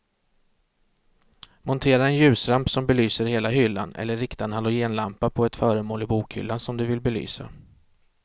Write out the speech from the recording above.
Montera en ljusramp som belyser hela hyllan eller rikta en halogenlampa på ett föremål i bokhyllan som du vill belysa.